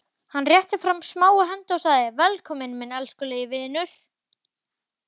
Hann rétti fram smáa hendi og sagði: Velkominn minn elskulegi vinur.